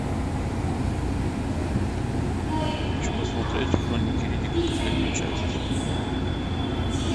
хочу посмотреть хроники риддика последнюю часть